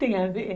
Tem a ver?